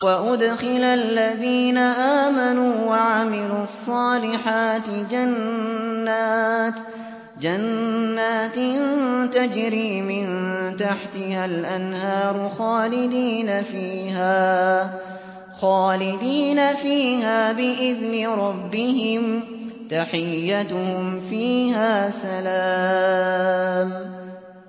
وَأُدْخِلَ الَّذِينَ آمَنُوا وَعَمِلُوا الصَّالِحَاتِ جَنَّاتٍ تَجْرِي مِن تَحْتِهَا الْأَنْهَارُ خَالِدِينَ فِيهَا بِإِذْنِ رَبِّهِمْ ۖ تَحِيَّتُهُمْ فِيهَا سَلَامٌ